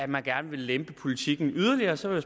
man gerne lempe politikken yderligere og så vil